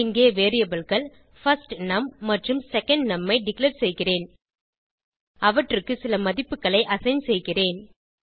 இங்கே variableகள் பர்ஸ்ட்னம் மற்றும் செகண்ட்னம் ஐ டிக்ளேர் செய்கிறேன் அவற்றுக்கு சில மதிப்புகளை அசைன் செய்கிறேன்